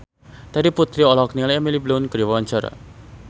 Terry Putri olohok ningali Emily Blunt keur diwawancara